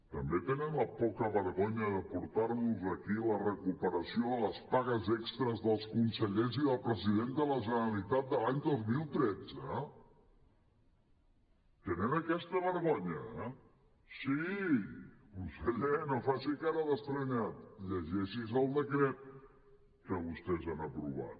també tenen la poca vergonya de portar nos aquí la recuperació de les pagues extres dels consellers i del president de la generalitat de l’any dos mil tretze tenen aquesta vergonya sí conseller no faci cara d’estranyat llegeixi’s el decret que vostès han aprovat